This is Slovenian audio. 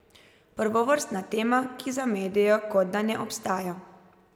Prvovrstna tema, ki za medije kot da ne obstaja.